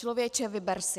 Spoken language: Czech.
Člověče, vyber si!